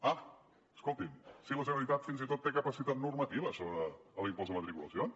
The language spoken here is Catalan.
ah escoltin si la generalitat fins i tot té capacitat normativa sobre l’impost de matriculacions